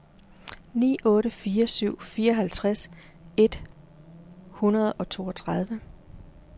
ni otte fire syv fireoghalvtreds et hundrede og toogtredive